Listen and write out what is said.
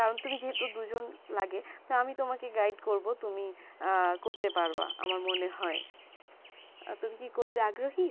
কারণ তুমি যেত দুই জন লাগে তাই আমি তোমাকে guide করবো তুমি আ করতে পারবা আমার মনে হয়ে তুমি কি করতে আগ্রহী